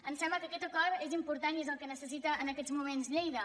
ens sembla que aquest acord és important i és el que necessita en aquests moments lleida